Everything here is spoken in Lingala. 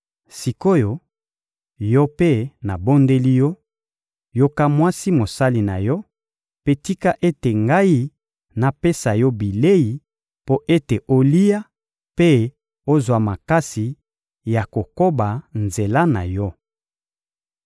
Sik’oyo, yo mpe, nabondeli yo: yoka mwasi mosali na yo, mpe tika ete ngai napesa yo bilei mpo ete olia mpe ozwa makasi ya kokoba nzela na yo.